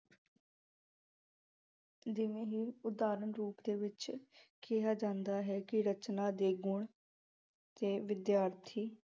ਜਿਵੇਂ ਹੀ ਉਦਾਹਰਣ ਰੂਪ ਦੇ ਵਿੱਚ ਕਿਹਾ ਜਾਂਦਾ ਹੈ ਕਿ ਰਚਨਾ ਦੇ ਗੁਣ ਤੇ ਵਿਦਿਆਰਥੀ